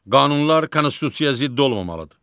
Qanunlar konstitusiyaya zidd olmamalıdır.